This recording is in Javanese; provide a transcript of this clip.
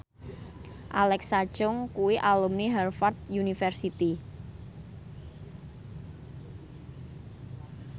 Alexa Chung kuwi alumni Harvard university